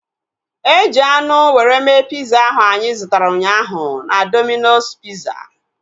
Eji anụ were mee piza ahu anyị zụtara ụnyaahụ na Domino's piza